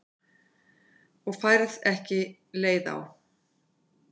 Og færð ekki leið á?